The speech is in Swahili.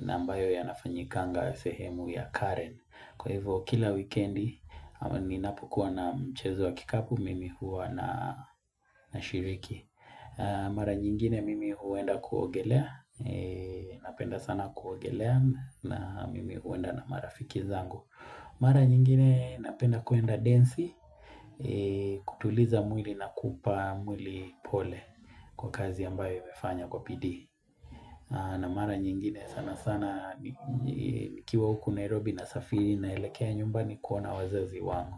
na ambayo yanafanyikanga sehemu ya Karen. Kwa hivyo kila wikendi ama ninapokuwa na mchezo wa kikapu mimi huwa nashiriki. Mara nyingine mimi huenda kuogelea Napenda sana kuogelea na mimi huenda na marafiki zangu Mara nyingine napenda kuenda densi kutuliza mwili na kupa mwili pole Kwa kazi ambayo imefanya kwa bidii na mara nyingine sanasana nikiwa huku Nairobi nasafiri naelekea nyumbani kuona wazazi wangu.